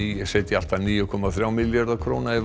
setja allt að níu komma þrjá milljarða króna í